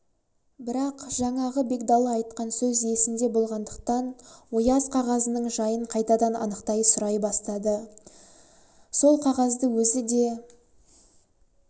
бірақ жаңағы бегдалы айтқан сөз есінде болғандықтан ояз қағазының жайын қайтадан анықтай сұрай бастады да сол қағазды өзі де